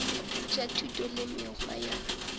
tša thuto le mekgwa ya